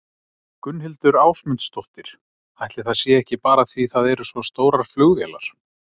Gunnhildur Ásmundsdóttir: Ætli það sé ekki bara því það eru svo stórar flugvélar?